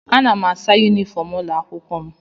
Ana m asa yunifọm ụlọ akwụkwọ m